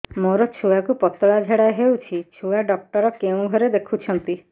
ମୋର ଛୁଆକୁ ପତଳା ଝାଡ଼ା ହେଉଛି ଛୁଆ ଡକ୍ଟର କେଉଁ ଘରେ ଦେଖୁଛନ୍ତି